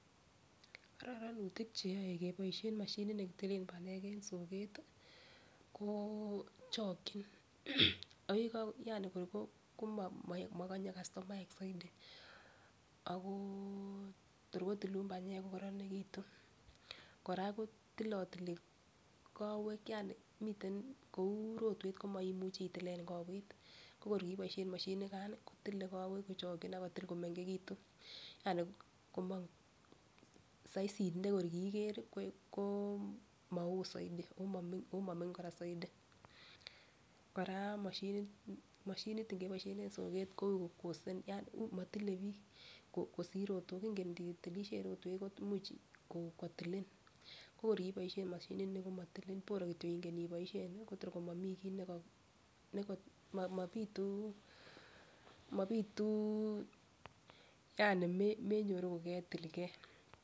Kororonutik cheyoe keboishen moshinit nekitilen panyek en soket tii ko chokin ak yeko yani kor komokonye kastomaek soidi ako tor koyilun panyek ko koronekitun. Koraa kotilotili kowek yani miten kou rotwet ko moimuchi itilen kowet ko kor kiboishen moshinit nikan kotile kowek kochoki ak kotil komengekitun yani komong saisit neko kiiker ko mowoo soidi omomingin Koraa soidi. Koraa moshinit moshinit ibeboishen en soket ko ui ko costet yan motile bik kosir rotok ingen initilishe rotwet ko imuch kotilin ko kor kiboishen moshinit nii ko motili boro kityok ingen iboishen ko tor komomii kii okot. Mobituu mobitu yani menyoruu koketilgee.